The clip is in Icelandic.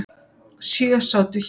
Sjö sátu hjá.